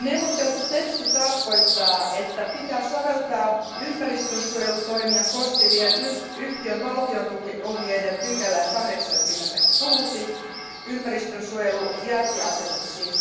Neuvoteltu teksti tarkoittaa, että pitää soveltaa ympäristönsuojelutoimia koskevien valtiontukiohjeiden pykälää 86, ympäristönsuojelu jälkiasennuksiin.